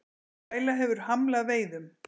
Bræla hefur hamlað veiðum